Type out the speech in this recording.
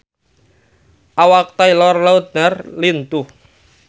Awak Taylor Lautner lintuh